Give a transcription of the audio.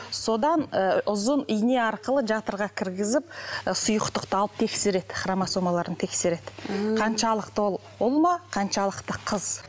содан і ұзын ине арқылы жатырға кіргізіп і сұйықтықты алып тексереді хромосомаларын тексереді қаншалықты ол ұл ма қаншалықты қыз